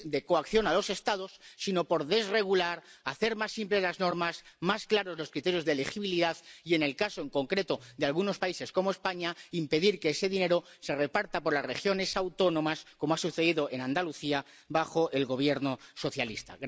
coacción a los Estados, sino por desregular, hacer más simples las normas, más claros los criterios de elegibilidad y en el caso en concreto de algunos países, como España, impedir que ese dinero se reparta por las regiones autónomas, como ha sucedido en Andalucía bajo el Gobierno socialista.